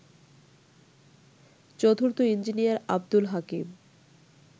চতুর্থ ইঞ্জিনিয়ার আবদুল হাকিম